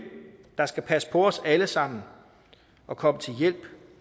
der skal passe på os alle sammen og komme til hjælp